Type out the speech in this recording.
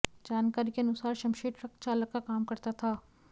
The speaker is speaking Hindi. जानकारी के अनुसार शमशेर ट्रक चालक का काम करता था